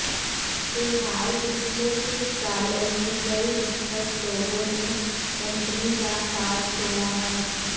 फिलहाल पिछले कुछ सालों में कई दिग्गज लोगों ने कंपनी का साथ छोड़ा है